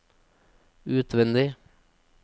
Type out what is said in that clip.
utvendig